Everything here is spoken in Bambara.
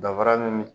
Dafara nin